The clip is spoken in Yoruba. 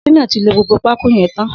Shina ti ló gbógbó pákó yèn tán